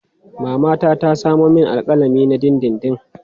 Mama ta samo min alƙalami na dindindin.